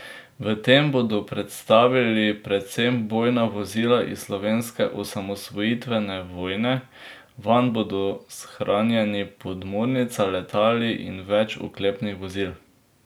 V tem bodo predstavili predvsem bojna vozila iz slovenske osamosvojitvene vojne, vanj bodo shranjeni podmornica, letali in več oklepnih vozil.